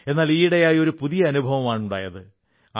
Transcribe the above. എന്നാൽ ഈയിടെയായി ഒരു പുതിയ അനുഭവമാണുണ്ടാകുന്നത്